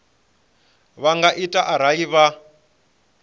vha nga ita arali vha